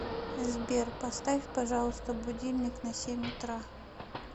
сбер поставь пожалуйста будильник на семь утра